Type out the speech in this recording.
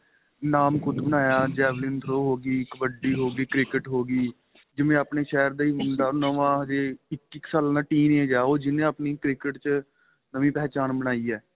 ਨਾਂਮ ਖੁੱਦ ਬਣਾਇਆ javelin throw ਹੋ ਗਈ ਕਬੱਡੀ ਹੋ ਗਈ cricket ਹੋ ਗਈ ਜਿਵੇਂ ਆਪਣੇਂ ਸ਼ਹਿਰ ਦਾ ਮੁੰਡਾ ਉਹ ਨਵਾਂ ਅਜੇ ਇੱਕੀ ਸਾਲਾਂ teen age ਏ ਉਹ ਜਿਹਨੇ ਆਪਣੀ cricket ਚ ਨਵੀਂ ਪਹਿਚਾਣ ਬਣਾਈ ਏ